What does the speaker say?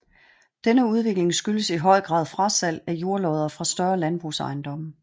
Denne udvikling skyldes i høj grad frasalg af jordlodder fra større landbrugsejendomme